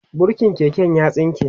burkin keken ya tsinke